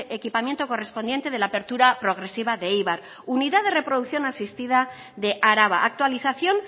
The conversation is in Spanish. equipamiento correspondiente de la apertura progresiva de eibar unidad de reproducción asistida de araba actualización